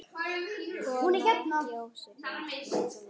Kona ekki ósvipuð mörgum öðrum.